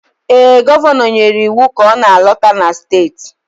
Ee, Gọvanọ nyere iwu ka ọ na-alọta na steeti